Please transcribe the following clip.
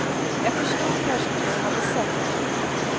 Jag förstod kanske inte vad jag sett.